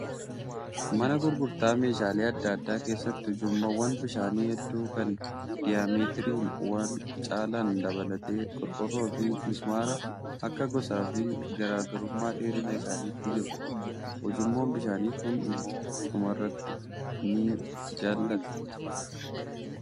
Mana gurgurtaa meeshaalee adda addaa keessatti ujummoowwan bishaanii hedduu kan diyaameetiriin wal caalan dabalatee qorqoorroo fi mismaara akka gosaa fi garaagarummaa dheerina isaaniitti jiru. Ujummoon bishaanii kun immoo dhumarratti ni jallata.